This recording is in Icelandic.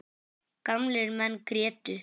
Gamlir menn grétu.